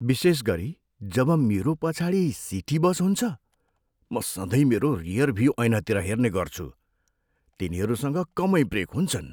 विशेष गरी जब मेरो पछाडि सिटी बस हुन्छ, म सधैँ मेरो रियरभ्यु ऐनातिर हेर्ने गर्छु। तिनीहरूसँग कमै ब्रेक हुन्छन्।